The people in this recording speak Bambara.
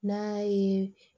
N'a ye